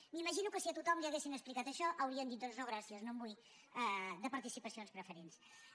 m’imagino que si a tothom li haguessin explicat això haurien dit doncs no gràcies no en vull de participacions preferents